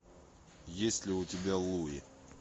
есть ли у тебя луи